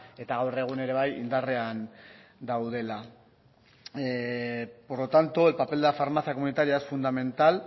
eta gaur egun ere bai indarrean daudela por lo tanto el papel de la farmacia comunitaria es fundamental